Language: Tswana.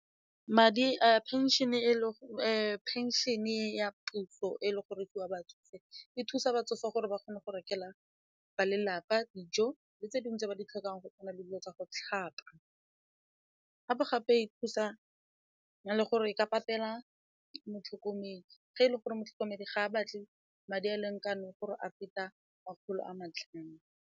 Madi a pension-e ya puso e le go re ke ya batsofe e thusa batsofe gore ba kgone go rekelwa ba lelapa dijo le tse dingwe tse ba di tlhokang go kgona le dilo tsa go tlhapa, gape-gape gape e thusa le gore e ka patela motlhokomedi ge e le gore motlhokomedi ga a batle madi a a lekaneng gore a feta makgolo a matlhano.